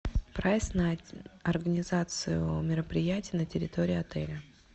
прайс на организацию мероприятия на территории отеля